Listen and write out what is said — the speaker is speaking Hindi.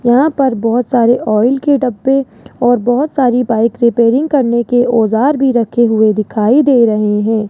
यहां पर बहोत सारे ऑयल के डब्बे और बहोत सारी बाइक रिपेयरिंग करने के औजार भी रखे हुए दिखाई दे रहे है।